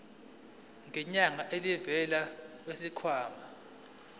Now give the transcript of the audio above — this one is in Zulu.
ngenyanga elivela kwisikhwama